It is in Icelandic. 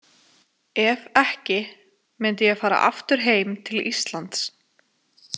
Ef ekki, myndi ég fara aftur heim til Íslands.